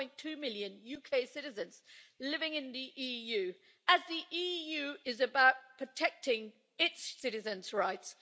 1.2 million UK citizens living in the EU as the EU is about protecting its citizens' rights.